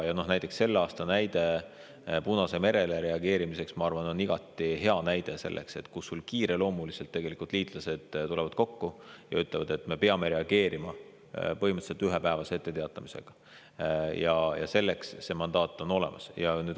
Näiteks sellel aastal Punasel merel toimunule reageerimine, ma arvan, on igati hea näide, et kui liitlased tulevad kiireloomuliselt kokku ja ütlevad, et me peame reageerima põhimõtteliselt ühepäevase etteteatamisega, siis on hea, kui selleks mandaat on olemas.